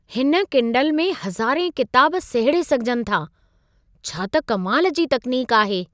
हिन किंडल में हज़ारें किताब सहेड़े सघिजनि था। छा त कमाल जी तकनीक आहे!